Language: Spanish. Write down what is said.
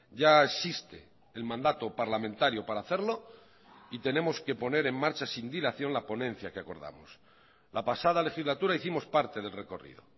ya existe el mandato parlamentario para hacerlo y tenemos que poner en marcha sin dilación la ponencia que acordamos la pasada legislatura hicimos parte del recorrido